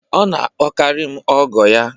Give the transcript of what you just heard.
Ọ na-akpọkarị m ọgọ ya